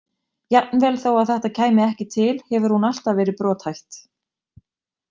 Jafnvel þó að þetta kæmi ekki til hefur hún alltaf verið brothætt.